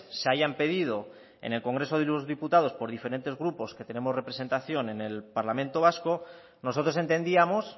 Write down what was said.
se hayan pedido en el congreso de los diputados por diferentes grupos que tenemos representación en el parlamento vasco nosotros entendíamos